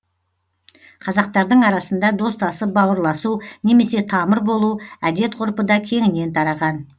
қазақтардың арасында достасып бауырласу немесе тамыр болу әдет ғұрпы да кеңінен тараған